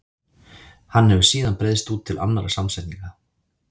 Hann hefur síðan breiðst út til annarra samsetninga.